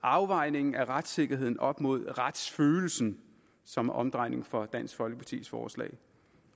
afvejningen af retssikkerheden op imod retsfølelsen som er omdrejningspunktet i folkepartis forslag